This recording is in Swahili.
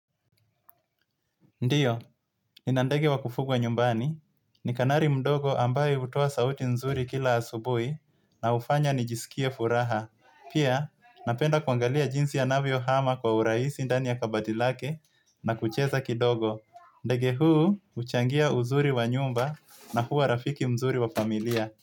Ndiyo, ni nandege wa kufugwa nyumbani. Ni kanari mdogo ambaye utowa sauti nzuri kila asubui na ufanya nijisikie furaha. Pia, napenda kuangalia jinsi anavio hama kwa uraisi ndani ya kabadilake na kucheza kidogo. Ndege huu, uchangia uzuri wa nyumba na huu wa rafiki mzuri wa familia.